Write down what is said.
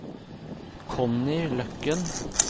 Connie Løkken